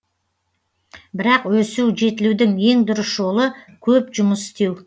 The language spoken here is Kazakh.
бірақ өсу жетілудің ең дұрыс жолы көп жұмыс істеу